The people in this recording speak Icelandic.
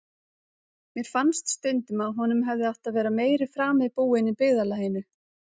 Mér fannst stundum að honum hefði átt að vera meiri frami búinn í byggðarlaginu.